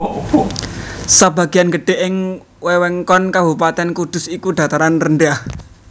Sabagian gedhe ing wewengkon Kabupatèn Kudus iku dataran rendah